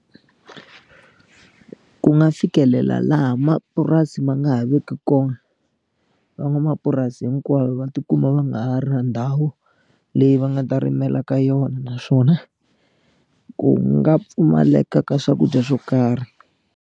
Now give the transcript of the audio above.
Ku nga fikelela laha mapurasi ma nga ha veki kona van'wamapurasi hinkwavo va ti kuma va nga ha ri na ndhawu leyi va nga ta rimela ka yona naswona ku nga pfumaleka ka swakudya swo karhi.